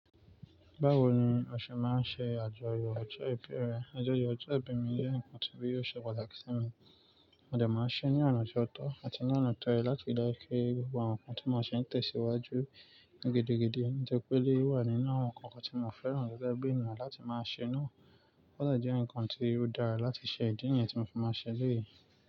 Báwo ni o ṣe máa ń ṣe àjọyọ̀ ọjọ́ ìbí rẹ? Àjọyọ̀ ọjọ́ ìbí mi jẹ́ ǹkan tí yóò ṣe pàtàkì sí mi, mode máa ṣe é ní ọ̀nà ti ọ̀tọ̀ àti ní ọ̀nà tọ́ yẹ látiri daju kí gbogbo àwọn ǹkan tí mo ṣe ń tẹ̀síwájú gidigidi, ó jẹ́ pé lé wà nínú àwọn ǹkan tí mo fẹ́ràn gẹ́gẹ́ bí ènìyàn láti máa ṣe náà. Ó de jẹ́ ǹkan tí ó dára láti ṣe ìdí nìyẹn tí mo fi máa ṣe léyìí.